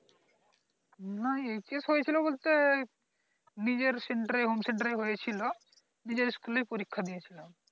না HS হয়েছিল বলতে নিজের center এ home center হয়েছিল ওখানে নিজের school এ পরীক্ষা দিয়েছিলাম